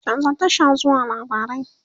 chanza Tasha zuwa labarai!